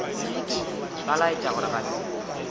ba laetša gore ga se